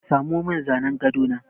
Samo min zanin gado na!